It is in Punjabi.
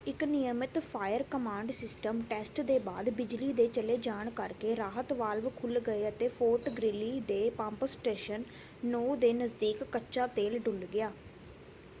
ਇੱਕ ਨਿਯਮਿਤ ਫਾਇਰ-ਕਮਾਂਡ ਸਿਸਟਮ ਟੈਸਟ ਦੇ ਬਾਅਦ ਬਿਜਲੀ ਦੇ ਚਲੇ ਜਾਣ ਕਰਕੇ ਰਾਹਤ ਵਾਲਵ ਖੁੱਲ੍ਹ ਗਏ ਅਤੇ ਫੋਰਟ ਗ੍ਰੀਲੀ ਦੇ ਪੰਪ ਸਟੇਸ਼ਨ 9 ਦੇ ਨਜ਼ਦੀਕ ਕੱਚਾ ਤੇਲ ਡੁੱਲ੍ਹ ਗਿਆ।